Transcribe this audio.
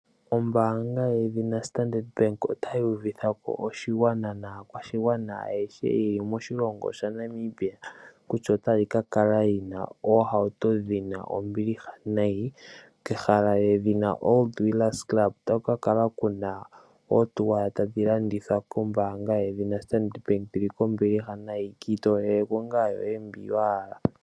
Ombaanga yedhina Standard Bank otayi uvitha ko oshigwana naakwashigwana ayehe ye li moshilongo shaNamibia kutya otayi ka kala yi na oohauto dhi na ombiliha nayi kehala lyedhina Old Wheelers Club. Otaku ka kala ku na oohauto tadhi landithwa kombaanga yedhina Standard Bank dhi li kombiliha nayi. Ki itoolele po ngaa yoye ndji wa hala.